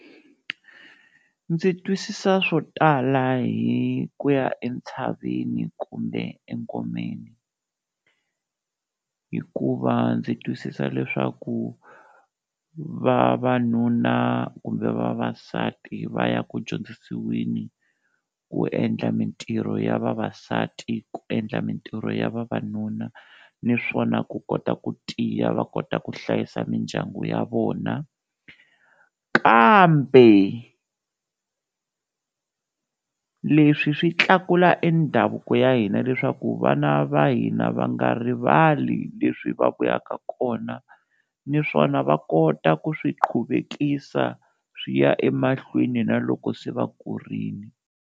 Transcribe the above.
Ndzi twisisa swo tala hi ku ya entshaveni kumbe engomeni hikuva ndzi twisisa leswaku vavanuna kumbe vavasati va ya ku dyondzisiweni ku endla mintirho ya vavasati ku endla mintirho ya vavanuna niswona ku kota ku tiya va kota ku hlayisa mindyangu ya vona, kambe leswi swi tlakula e ndhavuko ya hina leswaku vana va hina va nga rivali leswi va vuyaka kona, niswona va kota ku swiqhuvekisa swi ya emahlweni na loko se va kurile.